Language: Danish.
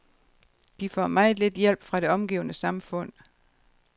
De får meget lidt hjælp fra det omgivende samfund.